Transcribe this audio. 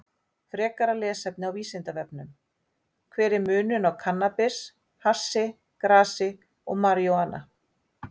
Frekara lesefni á Vísindavefnum: Hver er munurinn á kannabis, hassi, grasi og marijúana?